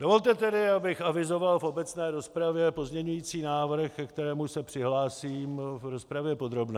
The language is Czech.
Dovolte tedy, abych avizoval v obecné rozpravě pozměňující návrh, ke kterému se přihlásím v rozpravě podrobné.